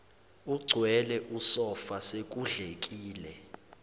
egcwele usofa sekudlekile